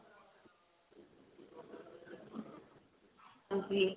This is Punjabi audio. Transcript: ਹਾਂਜੀ